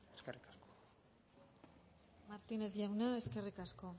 eskerrik asko martínez jauna eskerrik asko